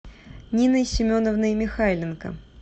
ниной семеновной михайленко